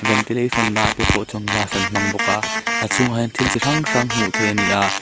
ventilation ah te pawh chuan glass an hmang bawk a a chhungah hian thil chi hrang hrang hmuh theih ani a.